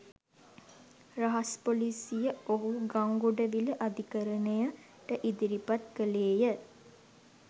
රහස් පොලිසිය ඔහු ගංගොඩවිල අධිකරණයට ඉදිරිපත් කළේය.